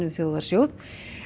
um þjóðarsjóð